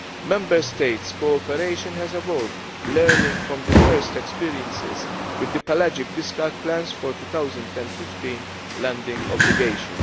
Member States' cooperation has evolved, learning from the first experiences with the pelagic discard plans for the 2015 landing obligation.